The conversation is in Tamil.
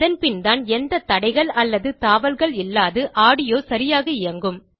அதன்பின் தான் எந்த தடைகள் அல்லது தாவல்கள் இல்லாது ஆடியோ சரியாக இயங்கும்